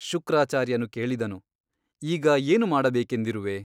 ಶುಕ್ರಾಚಾರ್ಯನು ಕೇಳಿದನು ಈಗ ಏನು ಮಾಡಬೇಕೆಂದಿರುವೆ ?